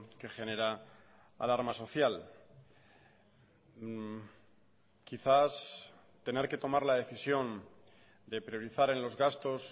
que genera alarma social quizás tener que tomar la decisión de priorizar en los gastos